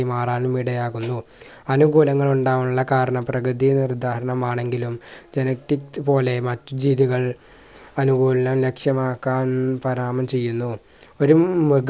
മാറാനും ഇടയാകുന്നു അനുകുലങ്ങൾ ഉണ്ടാവാനുള്ള കാരണം പ്രകൃതി ഒരു ഉദാഹരണം ആണെങ്കിലും genetic പോലെ മറ്റ് ജീവികൾ അനുകൂലനം ലക്ഷ്യമാക്കാൻ പരാമം ചെയ്യുന്നു